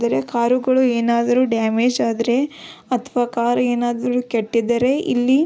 ಬೇರೆ ಕರುಗಳು ಏನಾದ್ರು ಡ್ಯಾಮೇಜ್ ಆದ್ರೆ ಅಥವಾ ಕಾರ್ ಏನಿದ್ರೂ ಕೆಟ್ಟಿದ್ರೆ ಇಲ್ಲಿ --